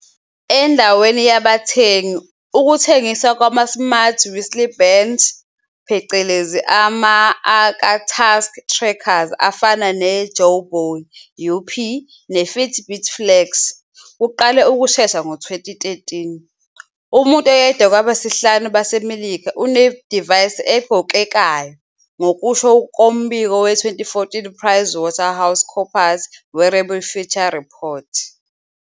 Endaweni yabathengi, ukuthengiswa kwama-smart wristbands, ama-aka task trackers afana neJawbone UP neFitbit Flex, kuqale ukushesha ngo-2013. Umuntu oyedwa kwabayisihlanu baseMelika unedivayisi egqokekayo, ngokusho kombiko we-2014 PriceWaterhouseCoopers Wearable future Report.